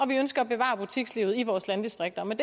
vi ønsker at bevare butikslivet i vores landdistrikter med